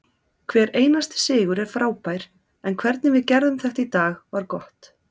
Hver einasti sigur er frábær en hvernig við gerðum þetta í dag var gott.